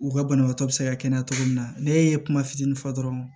U ka banabaatɔ bɛ se ka kɛnɛya cogo min na ne ye kuma fitinin fɔ dɔrɔn